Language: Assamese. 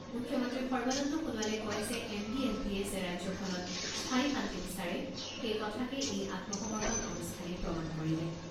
মুখ্যমন্ত্ৰী সৰ্বানন্দ সোণোৱালে কয় যে এনডিএফবিয়ে যে ৰাজ্যখনত স্থায়ী শান্তি বিচাৰে, সেই কথাকে এই আত্মসমৰ্পন অনুষ্ঠানে প্ৰমাণ কৰিলে।